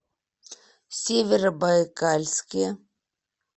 северобайкальске